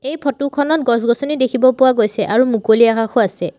এই ফটো খনত গছ-গছনি দেখিব পোৱা গৈছে আৰু মুকলি আকাশও আছে।